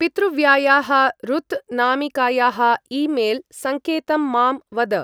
पितृव्यायाः रुत् नामिकायाः ई-मेल् सङ्केतं मां वद।